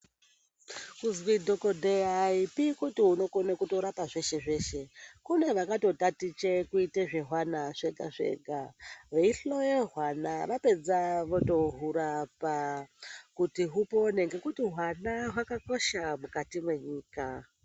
Kuzi dhokodheya ayipi kuti unokona kurapa zveshe zveshe. Kune vakatotaticha kuita zvehwana zvega zvega veihloya hwana. Hwapedza votohurapa kuti hwana hupore ngekuti hwana hwakakosha mukati menyika.